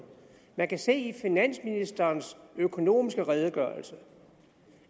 man kan se i finansministerens økonomiske redegørelse